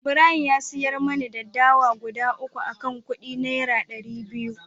Ibrahim ya siyar mani dawa guda 3 akan kudi naira dari biyu